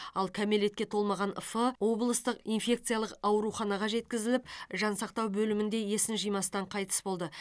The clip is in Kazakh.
ал кәмелетке толмаған ф облыстық инфекциялық ауруханаға жеткізіліп жансақтау бөлімінде есін жимастан қайтыс болды